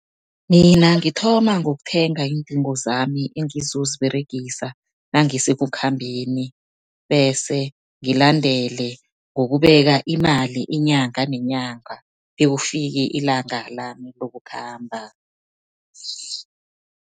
Mina ngithoma ngokuthenga iindingo zami engizoziberegisa nangisekukhambeni. Bese ngilandele ngokubeka imali inyanga nenyanga bekufike ilanga lami lokukhamba.